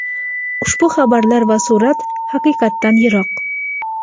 ushbu xabarlar va surat haqiqatdan yiroq.